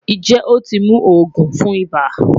Njẹ o ti mu oogun fun iba?